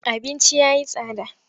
Abinci ya yi tsada.